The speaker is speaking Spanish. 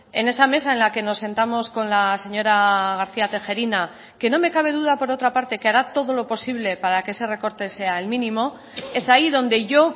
en esa mesa en la que nos sentamos con la señora garcía tejerina que no me cabe duda por otra parte que hará todo lo posible para que ese recorte sea el mínimo es ahí donde yo